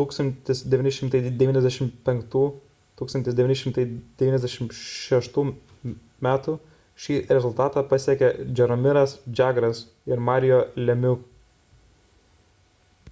1995–1996 m šį rezultatą pasiekė jaromiras jagras ir mario lemieux